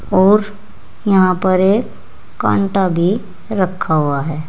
और यहां पर एक कांटा भी रखा हुआ है।